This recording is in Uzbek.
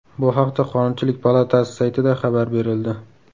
Bu haqda Qonunchilik palatasi saytida xabar berildi .